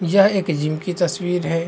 यह एक जिम की तस्वीर है।